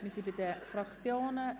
Wir kommen zu den Fraktionsvoten.